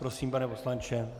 Prosím, pane poslanče.